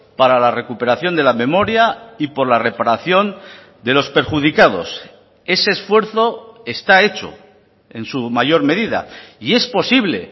para la recuperación de la memoria y por la reparación de los perjudicados ese esfuerzo está hecho en su mayor medida y es posible